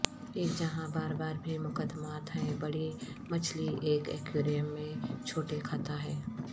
ایک جہاں بار بار بھی مقدمات ہیں بڑی مچھلی ایک ایکویریم میں چھوٹے کھاتا ہے